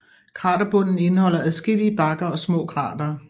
Kraterbunden indeholder adskillige bakker og små kratere